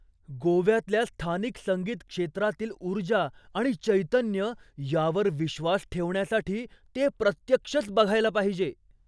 गोव्यातल्या स्थानिक संगीत क्षेत्रातील ऊर्जा आणि चैतन्य यावर विश्वास ठेवण्यासाठी ते प्रत्यक्षच बघायला पाहिजे.